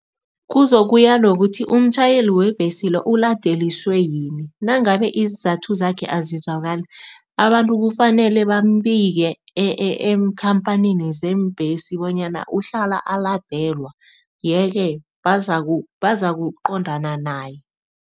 Kuzokuya ngokuthi umtjhayeli webhesi lo uladeliswe yini. Nangabe iinzathu zakhe azizwakali, abantu kufanele bambike eenkhamphanini zeembesi bonyana uhlala aladelwa yeke bazakuqondana naye.